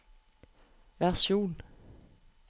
versjon